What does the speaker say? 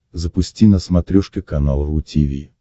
запусти на смотрешке канал ру ти ви